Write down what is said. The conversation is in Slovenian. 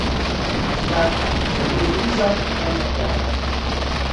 Skratka, če je to kriza, naj kar traja.